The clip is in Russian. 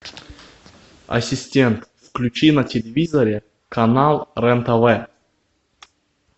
ассистент включи на телевизоре канал рен тв